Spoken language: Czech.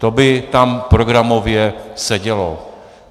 To by tam programově sedělo.